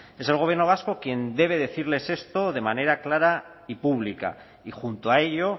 es el gobierno vasco quien debe decirles esto de manera clara y pública y junto a ello